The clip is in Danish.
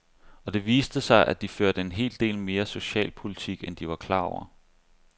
Og det viste sig, at de førte en hel del mere socialpolitik, end de var klar over.